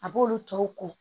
A b'olu tɔw ko